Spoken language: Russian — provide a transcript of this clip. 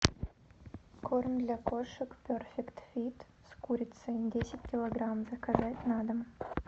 корм для кошек перфект фит с курицей десять килограмм заказать на дом